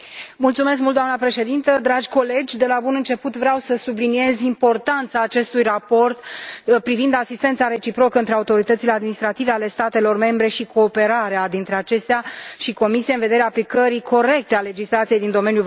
Doamnă președintă, dragi colegi, de la bun început vreau să subliniez importanța acestui raport privind asistența reciprocă între autoritățile administrative ale statelor membre și cooperarea dintre acestea și Comisie în vederea aplicării corecte a legislației din domeniul vamal.